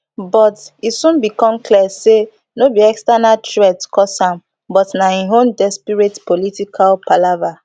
but e soon become clear say no be external threats cause am but na im own desperate political palava